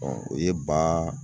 o ye ba